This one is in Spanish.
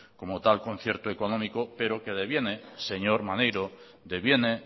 como tal concierto económico pero que deviene señor maneiro deviene